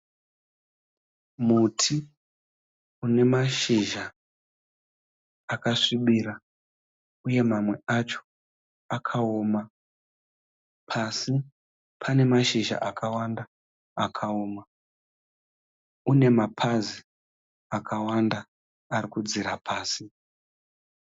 Muti une mashizha akasvibira uye mamwe acho akawoma, pasi pane mashizha akawanda akawoma, une mapazi akawanda arikudzira pasi.